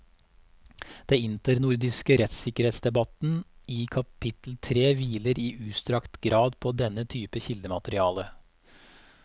Den internordiske rettssikkerhetsdebatten i kapittel tre hviler i utstrakt grad på denne type kildemateriale.